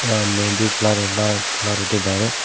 ಆ ಮೆಹಂದಿ ಕಲರ್ ಎಲ್ಲಾ ಕಲರ್ ಇಟ್ಟಿದ್ದಾರೆ.